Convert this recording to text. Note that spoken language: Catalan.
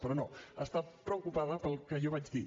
però no està preocupada pel que jo vaig dir